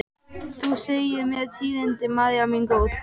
Þú segir mér tíðindin, María mín góð.